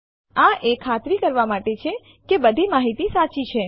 આ એ ખાતરી કરવા માટે છે કે બધી માહિતી સાચી છે